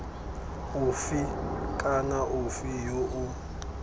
ofe kana ofe yo o